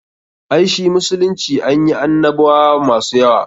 Ai shi musulunci anyi annabwa masu yawa.